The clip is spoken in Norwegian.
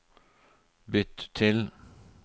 bytt til